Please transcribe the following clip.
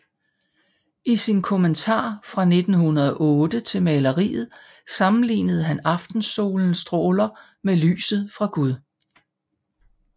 I sin kommentar fra 1809 til maleriet sammenlignede han aftensolens stråler med lyset fra Gud